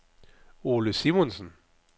Ole Simonsen